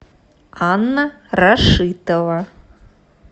анна рашитова